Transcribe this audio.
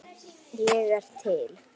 Ég er til